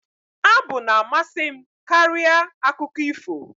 Abụ na-amasị m karịa akụkọ ifo